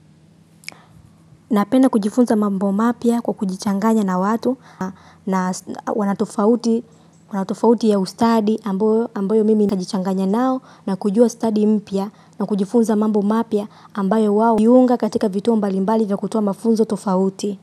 Napenda kujifunza mambo mapya kwa kujichanganya na watu na wanatofauti ya ustadi ambayo mimi najichanganya nao na kujua study mpya na kujifunza mambo mapya ambayo wao jiunga katika vituo mbalimbali vya kutoa mafunzo tofauti.